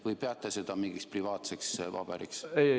Või peate seda mingiks privaatseks paberiks?